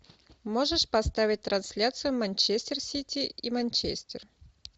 можешь поставить трансляцию манчестер сити и манчестер